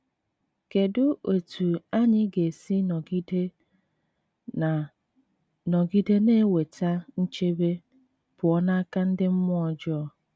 Kedụ etú anyị ga esi nọgide na nọgide na - enweta nchebe pụọ n’aka ndị mmụọ ọjọọ?